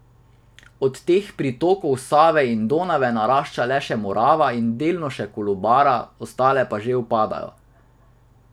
Od teh pritokov Save in Donave narašča le še Morava in delno še Kolubara, ostale pa že upadajo.